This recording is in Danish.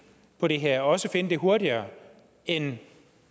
på det her og også finde den hurtigere end